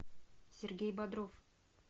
сергей бодров